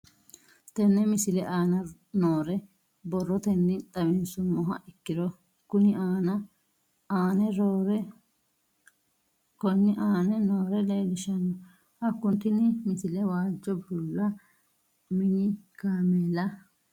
Tenne misile aana noore borrotenni xawisummoha ikirro kunni aane noore leelishano. Hakunno tinni misile waajo bulla mini kaameella uure nooha xawissanno